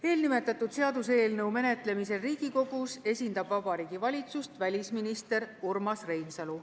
Eelnimetatud seaduseelnõu Riigikogus menetlemisel esindab Vabariigi Valitsust välisminister Urmas Reinsalu.